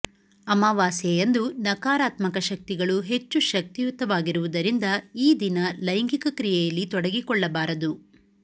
ಅಮಾವಾಸ್ಯೆಯಂದು ನಕಾರಾತ್ಮಕ ಶಕ್ತಿಗಳು ಹೆಚ್ಚು ಶಕ್ತಿಯುತವಾಗಿರುವುದರಿಂದ ಈ ದಿನ ಲೈಂಗಿಕ ಕ್ರಿಯೆಯಲ್ಲಿ ತೊಡಗಿಕೊಳ್ಳಬಾರದು